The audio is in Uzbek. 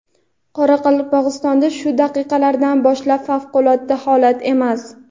Qoraqalpog‘istonda shu daqiqalardan boshlab favqulodda holat emas.